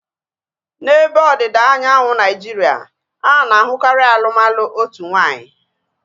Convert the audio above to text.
N'ebe ọdịda anyanwụ Naijiria, ana-ahukari alụmalụ otu nwaanyị